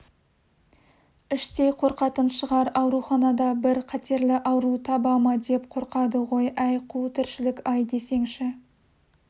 іштей қорқатын шығар ауруханада бір қатерлі ауру таба ма деп қорқады ғой әй қу тіршілік-ай десеңші